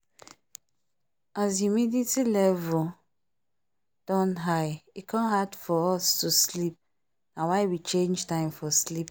as humidity level don high e come hard for us to sleep na why we change time for sleep